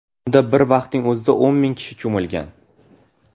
Unda bir vaqtning o‘zida o‘n ming kishi cho‘milgan.